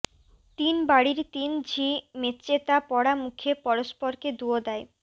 তিন বাড়ির তিন ঝি মেছেতা পরা মুখে পরস্পরকে দুয়ো দেয়